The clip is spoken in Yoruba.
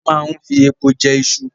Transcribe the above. A máa ń fi epo jẹ iṣu